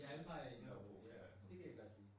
Ja Empire i Nørrebro. Det kan jeg godt lide